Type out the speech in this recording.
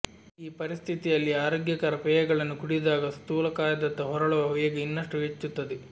ಈ ಪರಿಸ್ಥಿತಿಯಲ್ಲಿ ಆರೋಗ್ಯಕರ ಪೇಯಗಳನ್ನು ಕುಡಿದಾಗ ಸ್ಥೂಲಕಾಯದತ್ತ ಹೊರಳುವ ವೇಗ ಇನ್ನಷ್ಟು ಹೆಚ್ಚುತ್ತದೆ